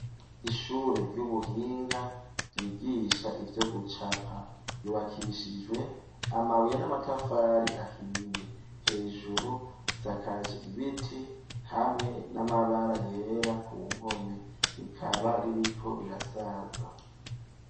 Ishure ry'ubuhinga ryigisha ivyo gucapa, ryubakishijwe amabuye n'amatafari ahiye, hejuru risakaje ibiti hamwe n'amabara yera ku mpome, rikaba r'iriko rirasaza.